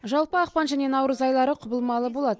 жалпы ақпан және наурыз айлары құбылмалы болады